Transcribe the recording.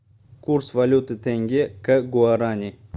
курс валюты тенге к гуарани